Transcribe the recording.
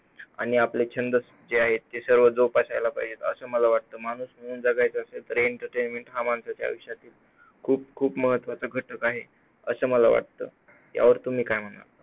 आणि आपले जे छंद आहेत ते सर्व जोपासयला पाहिजेत असं मला वाटतं. माणूस म्हणून जगायचं असेल तर entertainment माणसाच्या आयुष्यातील खूप खूप महत्त्वाचा घटक आहे असं मला वाटतं यावर तुम्ही काय म्हणाल?